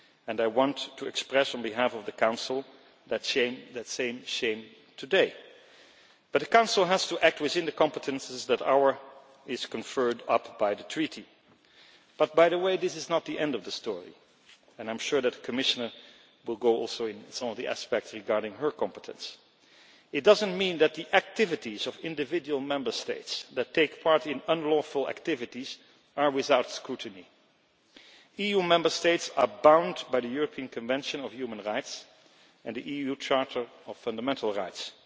I want to express on behalf of the Council that same shame today, but the Council has to act within the competences that are conferred on it by the Treaty. But this is not the end of the story, and I am sure that the Commissioner will also go into some of the aspects regarding her competence. It does not mean that the activities of individual Member States that take part in unlawful activities are without scrutiny. EU Member States are bound by the European Convention on Human Rights and the EU Charter of Fundamental Rights.